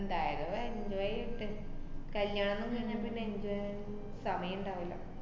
എന്തായാലും enjoy എയ്യട്ട്. കല്യാണൊന്നും കഴിഞ്ഞാ പിന്നെ enjoy നൊന്നും സമയം ~ണ്ടാവില്ല.